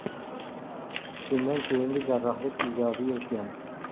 Shundan keyingi jarrohlik ijobiy o‘tgan.